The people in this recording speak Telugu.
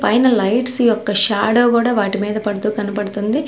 పైన లైట్స్ యొక్క షాడో కూడా వాటి మీద పడుతూ కనపడుతుంది.